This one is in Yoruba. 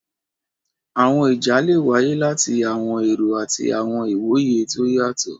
Àwọn ìjà́ le wáyé láti àwọn èró àti àwọn ìwoyè tó o yátọ.